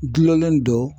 Dulonnen dɔ